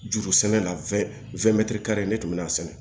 Juru sɛnɛ la ne tun bɛ'a sɛnɛ